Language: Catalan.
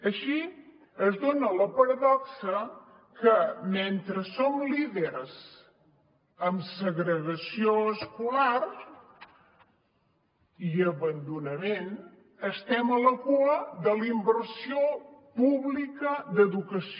així es dona la paradoxa que mentre som líders en segregació escolar i abandonament estem a la cua de la inversió pública d’educació